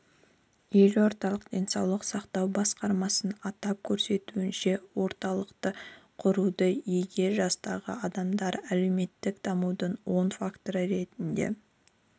елордалық денсаулық сақтау басқармасының атап көрсетуінше орталықты құруда егде жастағы адамдар әлеуметтік дамудың оң факторы ретінде